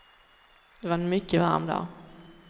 Det var en mycket varm dag.